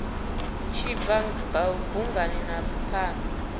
tshi bva bungani na phanda